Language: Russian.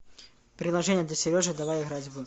приложение для сережи давай играть в